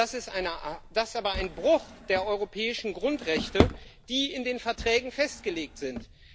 Das ist aber ein Bruch der europäischen Grundrechte, die in den Verträgen festgelegt sind.